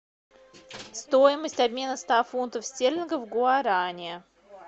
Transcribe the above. стоимость обмена ста фунтов стерлингов в гуарани